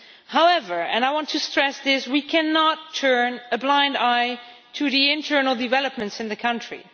However, and I want to stress this, we cannot turn a blind eye to the internal developments in the country.